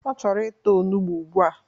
Ọ chọrọ ịta onugbo ugbua!